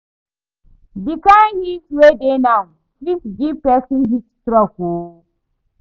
The kyn heat wey dey now fit give person heat stroke oo